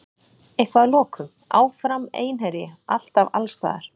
Eitthvað að lokum: Áfram Einherji, alltaf, allsstaðar.